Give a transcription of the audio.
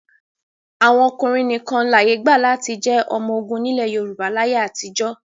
Àwọn ọkùnrin nìkan láyé gbà láti jẹ́ ọmọ ogun nílẹ̀ Yorùbá láyé àtijọ́.